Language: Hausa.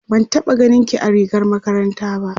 ban taɓa ganinki a rigar makaranta. ba